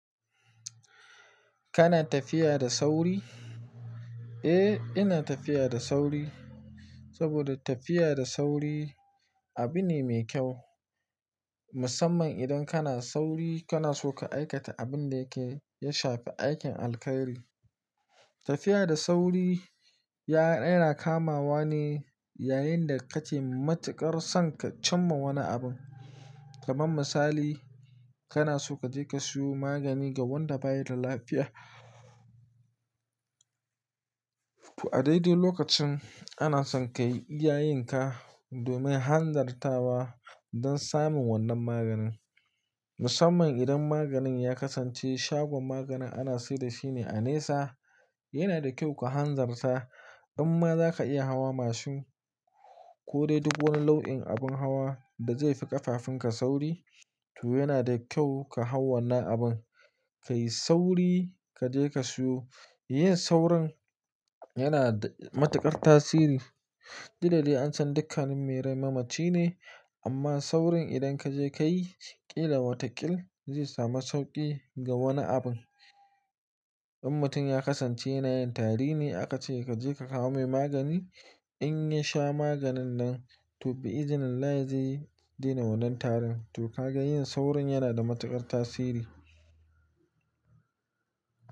Kana tafiya da sauri? Eh, ina tafiya da sauri saboda tafiya da sauri abu ne mai kyau. Musamman idan kana sauri, kana so ka aikata abin da yake ya shafi aikin alkhairi. Tafiya da sauri, ya, yana kamawa ne yayin da kake matuƙar son ka cimma wani abun kaman misali, kana so ka je ka siyo magani ga wanda bayi da lafiya. Toh a daidai lokacin ana son ka yi iyayinka domin hanzarta wa don samun wannan maganin. Musamman idan maganin ya kasance shagon maganin ana sayar da shi ne a nesa, yana da kyau ku hanzarta. In ma za ka iya hawa mashin ko dai duk wani launin abin hawa da zai fi ƙafafunka sauri, to yana da kyau ka hau wannan abin, ka yi sauri ka je ka siyo. Yin saurin yana da matuƙar tasiri. Duk da dai an san dukkannin mai rai mamaci ne, amma saurin idan ka je ka yi ƙila wata ƙil zai samu sauƙi ga wani abin. In mutum ya kasance yana yin tari ne, aka ce ka je ka kawo mai magani. In ya sha maganin nan, to, bi izinin Allah zai daina wannan tarin. To, kaga yin saurin yana da matuƙar tasiri.